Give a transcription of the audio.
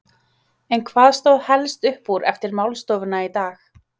En hvað stóð helst upp úr eftir málstofuna í dag?